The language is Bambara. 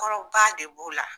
Kɔrɔ ba de b'o la.